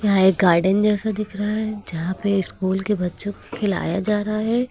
यहां एक गार्डन जैसा दिख रहा है जहां पे स्कूल के बच्चों को खिलाया जा रहा है।